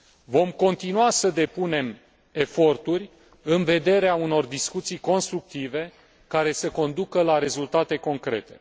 Vom continua să depunem eforturi în vederea unor discuții constructive care să conducă la rezultate concrete.